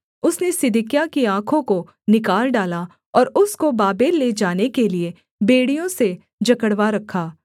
उसने सिदकिय्याह की आँखों को निकाल डाला और उसको बाबेल ले जाने के लिये बेड़ियों से जकड़वा रखा